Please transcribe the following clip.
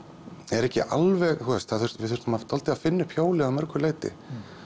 eru ekki alveg þú veist við þurftum dálítið að finna upp hjólið að mörgu leyti